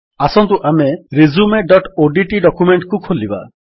ଆସନ୍ତୁ ଆମେ resumeଓଡିଟି ଡକ୍ୟୁମେଣ୍ଟ୍ କୁ ଖୋଲିବା